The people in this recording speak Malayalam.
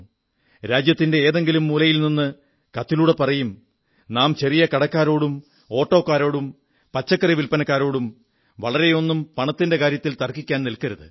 രാജ്യത്തിന്റെ ഏതെങ്കിലും മൂലയിൽ നിന്ന് കത്തിലൂടെ പറയും നാം ചെറിയ കടക്കാരോടും ഓട്ടോക്കാരോടും പച്ചക്കറി വില്പനക്കാരോടും വളരെയൊന്നും പണത്തിന്റെ കാര്യത്തിൽ തർക്കിക്കാൻ നില്ക്കരുത്